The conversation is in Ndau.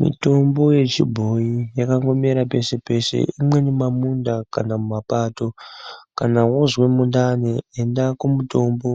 Mitombo yechibhoyi yakangomera pesepese, imweni mumamunda kana mumapato. Kana woozwe mundani enda kumutombo,